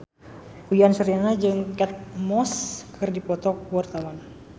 Uyan Suryana jeung Kate Moss keur dipoto ku wartawan